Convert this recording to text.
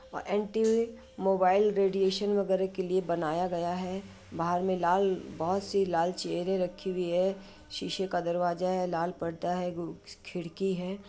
N t mobile radiation वगेरे के लिए बनाया गया है। बाहर मे लाल बोहत -सी लाल चेयर रखी हुई हैं। सीसे का दरवाजा है लाल पर्दा है उ खिड़की है।